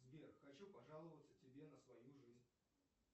сбер хочу пожаловаться тебе на свою жизнь